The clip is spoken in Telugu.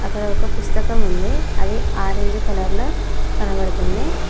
అక్కడ ఒక పుస్తకం ఉంది అది ఆరెంజ్ కలర్లో కనబడుతుంది.